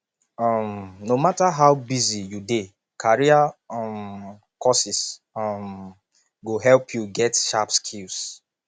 um no matter how busy you dey career um courses um go help you get sharp skills